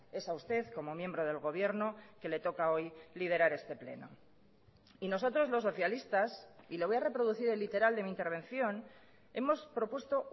es a usted como miembro del gobierno que le toca hoy liderar este pleno y nosotros los socialistas y le voy a reproducir el literal de mi intervención hemos propuesto